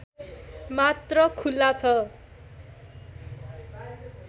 मात्र खुल्ला छ